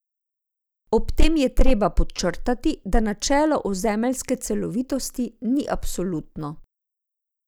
Ob tem je treba podčrtati, da načelo ozemeljske celovitosti ni absolutno.